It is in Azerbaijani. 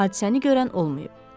Hadisəni görən olmayıb.